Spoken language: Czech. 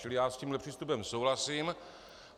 Čili já s tímhle přístupem souhlasím.